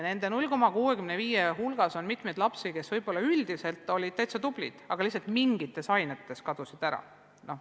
Selle 0,65% hulgas on mitmeid lapsi, kes võib-olla üldiselt olid täitsa tublid, aga lihtsalt mingites ainetes n-ö kadusid ära.